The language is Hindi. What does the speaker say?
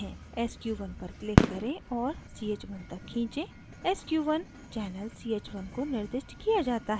sq1 पर click करें और ch1 तक खींचें